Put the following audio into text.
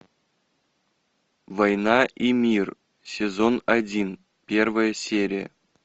война и мир сезон один первая серия